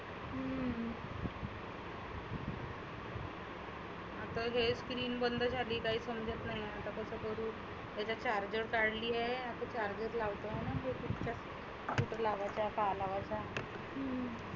बघ ही screen बंद झाली आहे. काहीच समजत नाही बंद करुण. याचा charger काढली आहे. आता charging लावतो.